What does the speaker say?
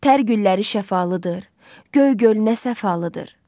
Tər gülləri şəfalıdır, göy gölü nə səfalıdır.